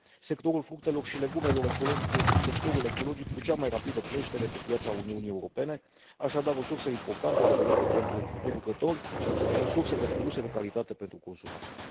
Sectorul fructelor și legumelor ecologice este sectorul ecologic cu cea mai rapidă creștere pe piața Uniunii Europene, așadar, o sursă importantă de venituri pentru producători și o sursă de produse de calitate pentru consumatori.